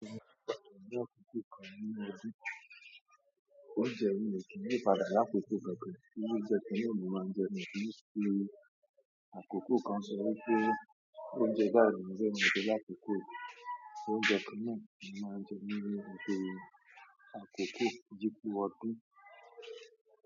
Eleyi ló máa ń jẹ mi kìí fi àkókò kan sọ wípé oúnjẹ báyi ni mo fẹ́, ni mio fẹ́ lákókò yí, oúnjẹ kanna ni mo máa ń jẹ.